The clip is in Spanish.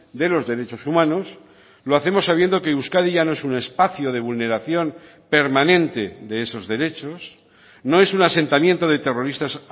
de los derechos humanos lo hacemos sabiendo que euskadi ya no es un espacio de vulneración permanente de esos derechos no es un asentamiento de terroristas